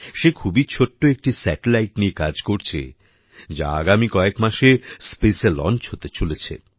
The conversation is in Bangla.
সে খুবই ছোট্ট একটি স্যাটেলাইট নিয়ে কাজ করছে যা আগামী কয়েক মাসে Spaceএ লঞ্চ হতে চলেছে